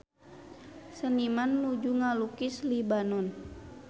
Seniman nuju ngalukis Libanon